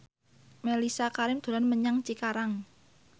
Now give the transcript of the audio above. Mellisa Karim dolan menyang Cikarang